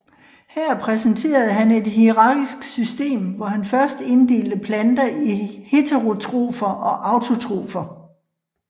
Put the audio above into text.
Her præsenterede han et hierarkisk system hvor han først inddelte planter i heterotrofer og autotrofer